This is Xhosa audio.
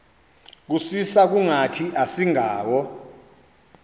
kusisa kungathi asingawo